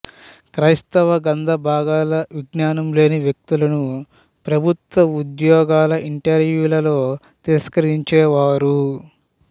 క్రైస్తవ గ్రంథభాగాల విజ్ఞానం లేని వ్యక్తులను ప్రభుత్వ ఉద్యోగాల ఇంటర్వ్యూల్లో తిరస్కరించేవారు